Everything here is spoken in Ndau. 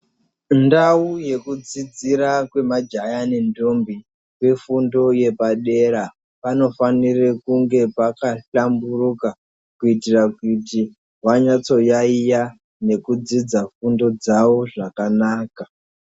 Ndau yekudzidzira kwemajaya nentombi kwefundo yepadera panofanira kunge pakahlamburuka kuitira kuti vanyatso yayeya nokudzidza fundo dzavo zvakanaka.